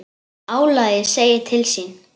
Álagið segir til sín.